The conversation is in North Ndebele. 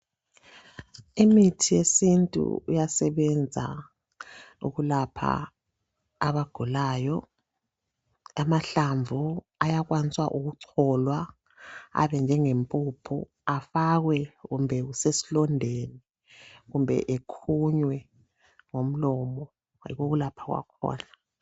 Imithi yesintu iyasebenza ukulapha abagulayo amahlamvu ayakwanisa ukucholwa abe njenge mpuphu efakwe kumbe kusesi londeni kumbe ekhunywe ngomlomo yikho ukulapha kwakhona.